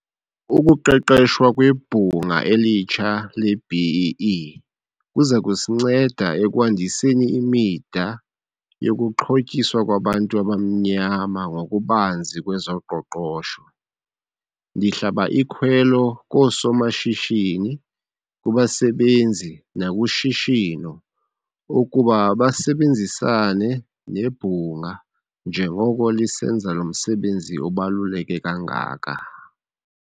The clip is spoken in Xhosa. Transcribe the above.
Ukuqeshwa kweBhunga elitsha le-B-BBEE kuza kusinceda ekwandiseni imida yokuxhotyiswa kwabantu abamnyama ngokubanzi kwezoqoqosho. Ndihlaba ikhwelo koosomashishini, kubasebenzi nakushishino ukuba basebenzisane nebhunga njengoko lisenza lo msebenzi ubaluleke kangaka.